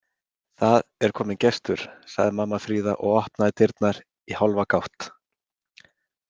Það er kominn gestur, sagði mamma Fríða og opnaði dyrnar í hálfa gátt.